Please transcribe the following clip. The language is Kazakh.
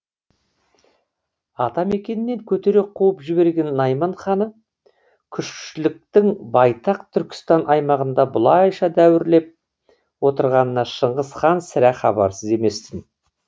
атамекенінен көтере қуып жіберген найман ханы күшліктің байтақ түркістан аймағында бұлайша дәуірлеп отырғанынан шыңғыс хан сірә хабарсыз емес тін